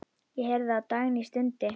Ég heyrði að Dagný stundi.